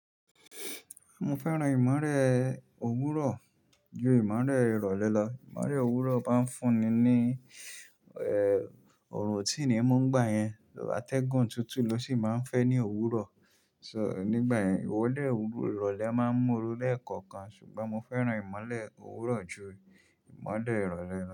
Mo fẹ́ràn ìmọ̀rẹ́ òwúrọ̀ ju ìmọ̀lẹ́ ìrọ̀lẹ́ lọ. Ìmọ̀lẹ́ òwúrọ̀ máa ń fún ni ní, ọ̀orun o tí ni mú nigbà yẹn. Atẹ́gun tutu ló sì máa ń fẹ́ ní òwúrọ̀. So nígbà yẹn ìwọ de wobi ìrọ̀lẹ́ máa ń mú oru léẹ̀kọ̀kan ṣùgbọ́n mo fẹ́ràn ìmọ̀lẹ́ òwúrọ̀ ju ìmọ̀lẹ́ ìrọ̀lẹ́ lọ.